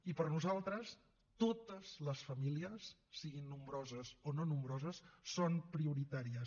i per nosaltres totes les famílies siguin nombroses o no nombroses són prioritàries